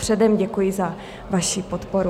Předem děkuji za vaši podporu.